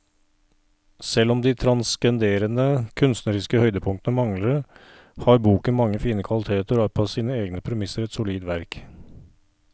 Selv om de transcenderende kunstneriske høydepunktene mangler, har boken mange fine kvaliteter og er på sine egne premisser et solid verk.